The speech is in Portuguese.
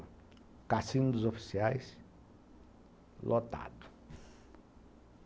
O cassino dos oficiais, lotado.